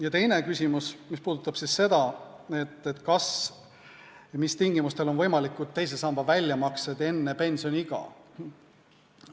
Ja teine küsimus puudutab seda, kas ja mis tingimustel on võimalikud teise samba väljamaksed enne pensioniiga.